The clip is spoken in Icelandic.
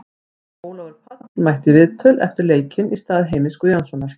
Ólafur Páll mætti í viðtöl eftir leik í stað Heimis Guðjónssonar.